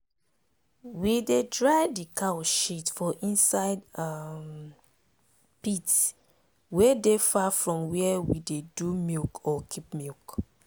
we dey dry d cow shit for inside um pit wey dey far from where we dey do milk or keep milk.